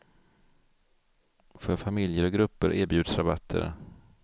För familjer och grupper erbjuds rabatter.